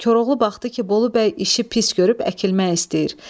Koroğlu baxdı ki, Bolu bəy işi pis görüb əkilmək istəyir.